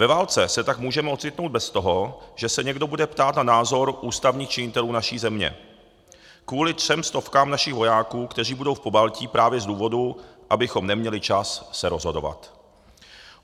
Ve válce se tak můžeme ocitnout bez toho, že se někdo bude ptát na názor ústavních činitelů naší země, kvůli třem stovkám našich vojáků, kteří budou v Pobaltí právě z důvodu, abychom neměli čas se rozhodovat.